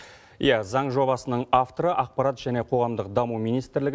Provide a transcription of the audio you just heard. иә заң жобасының авторы ақпарат және қоғамдық даму министрлігімен